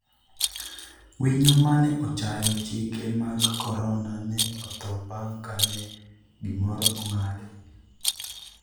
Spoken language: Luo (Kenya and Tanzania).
winyo mane ochayo chike mag korona ne otho bang' kane gimoro ong'ade